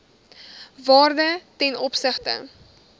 waarde ten opsigte